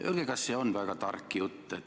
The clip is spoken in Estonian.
Öelge, kas see on väga tark jutt.